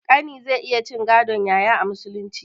Ƙani zai iya cin gadon yaya a musulunci